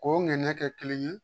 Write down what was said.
K'o ŋaniya kɛ kelen ye